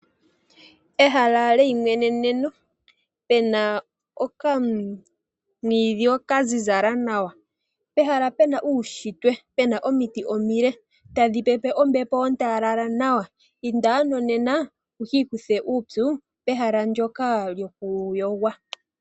Ehala leyi mweneneno pena okamwiidhi kazizala nawa, pehala pena uushitwe pena omiti omile tadhi pepe ombepo ontalala nawa. Inda ano nena wu ki ikuthe uupyu pehala ndyoka loku yogwa.